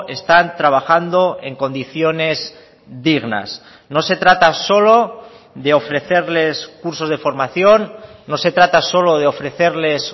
están trabajando en condiciones dignas no se trata solo de ofrecerles cursos de formación no se trata solo de ofrecerles